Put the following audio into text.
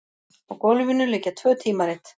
Á gólfinu liggja tvö tímarit.